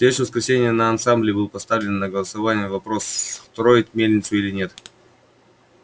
в следующее воскресенье на ассамблее был поставлен на голосование вопрос строить мельницу или нет